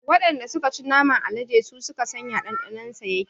Waɗanda suka ci naman alade su suka san ya ɗanɗanon sa yake